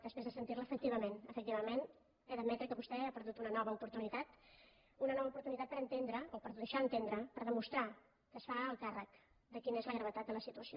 després de sentir la efectivament efectivament he d’admetre que vostè ha perdut una nova oportunitat per entendre o per deixar entendre per demostrar que es fa el càrrec de quina és la gravetat de la situació